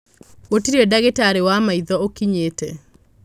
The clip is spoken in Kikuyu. Gũtirĩ ndagĩtarĩ wa maitho ũkinyĩte.